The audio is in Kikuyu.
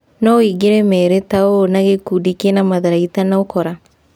" No ũingĩre merĩ ta ũũ na gĩkundi kĩna matharaita na ũkora.